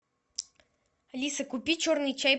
алиса купи черный чай